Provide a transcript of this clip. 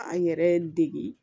An yɛrɛ degi